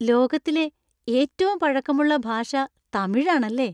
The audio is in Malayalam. ലോകത്തിലെ ഏറ്റവും പഴക്കമുള്ള ഭാഷ തമിഴാണല്ലേ!